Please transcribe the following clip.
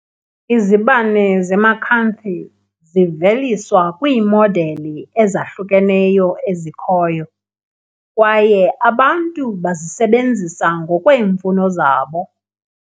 Izibane ze-Macanthi ziveliswa kwiimodeli ezahlukeneyo ezikhoyo, kwaye abantu bazisebenzisa ngokweemfuno zabo.